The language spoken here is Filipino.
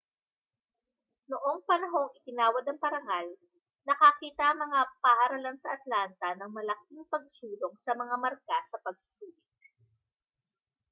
noong panahong iginawad ang parangal nakakita ang mga paaralan sa atlanta ng malaking pagsulong sa mga marka sa pagsusulit